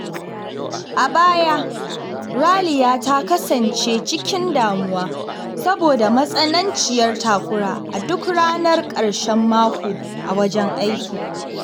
A baya, Raliya ta kasance cikin damuwa saboda matsananciyar takura a duk ranar ƙarshen mako a wajen aiki.